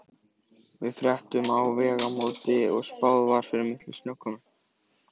Við fréttum á Vegamótum að spáð væri mikilli snjókomu.